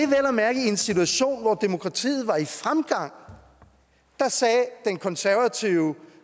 at mærke i en situation hvor demokratiet var i fremgang at den konservative